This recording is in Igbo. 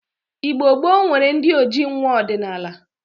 Igbo gboo nwere ndi ojii nwa ọdinaala.